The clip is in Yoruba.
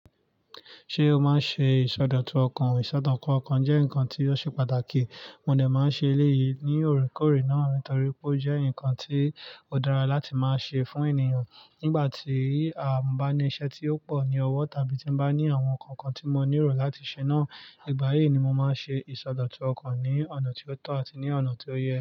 Ṣé o máa ń ṣe ìsọdọ̀tun ọkàn? Ìsọdọ̀tun ọkàn jẹ́ nǹkan tí ó ṣe pàtàkì. Mo dẹ máa ń ṣe eléyìí ní òrékòré náà nítorí pé ó jẹ́ nǹkan tí ó dára láti máa ṣe fún ènìyàn nígbà tí mo bá ní iṣẹ́ tí ó pọ̀ ní ọwọ́ tàbí tí ń bá ní àwọn nǹkan kan tí mo nílò láti ṣe náà. Ìgbà yìí ni mo máa ń ṣe ìsọdọ̀tun ọkàn ní ọ̀nà tí ó tọ́ àti ní ọ̀nà tí ó yẹ.